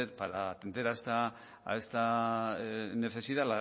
para atender a esta necesidad